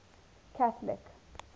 catholic